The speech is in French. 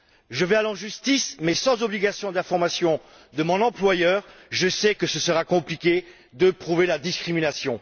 Je vais aller en justice mais sans obligation d'information de mon employeur, je sais que ce sera compliqué de prouver la discrimination.